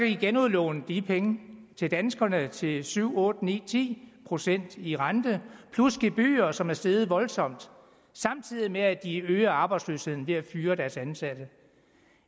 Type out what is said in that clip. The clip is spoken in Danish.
de genudlåne de penge til danskerne til syv otte ni eller ti procent i rente plus gebyrer som er steget voldsomt samtidig med at de øger arbejdsløsheden ved at fyre deres ansatte